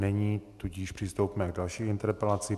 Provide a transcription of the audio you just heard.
Není, tudíž přistoupíme k další interpelaci.